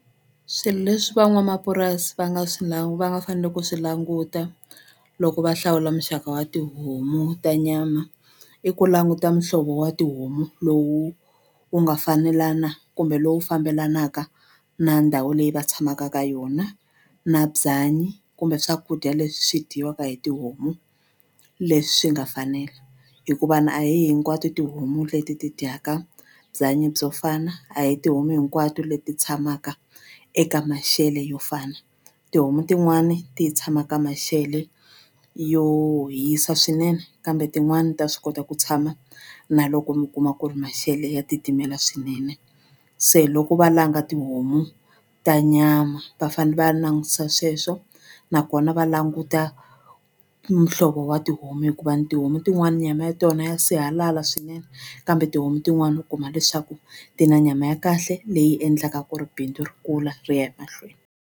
Swilo leswi van'wamapurasi va nga swi va nga fanele ku swi languta loko va hlawula muxaka wa tihomu ta nyama i ku languta muhlovo wa tihomu lowu wu nga fanelana kumbe lowu fambelanaka na ndhawu leyi va tshamaka ka yona na byanyi kumbe swakudya leswi dyiwaka hi tihomu leswi nga fanela hikuva ni a hi hinkwato tihomu leti ti dyaka byanyi byo fana a hi tihomu hinkwato leti tshamaka eka maxelo yo fana tihomu tin'wani ti tshama ka maxele yo hisa swinene kambe tin'wani ta swi kota ku tshama na loko mi kuma ku ri maxelo ya titimela swinene se loko va langa tihomu ta nyama va fane va langutisa sweswo nakona va languta muhlovo wa tihomu hikuva ni tihomu tin'wani ni nyama ya tona ya sihalala swinene kambe tihomu tin'wani u kuma leswaku ti na nyama ya kahle leyi endlaka ku ri bindzu ri kula ri ya emahlweni.